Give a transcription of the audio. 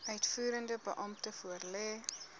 uitvoerende beampte voorlê